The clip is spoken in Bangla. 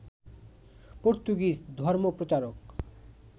পর্তুগিজ ধর্মপ্রচারক